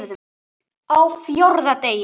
Á FJÓRÐA DEGI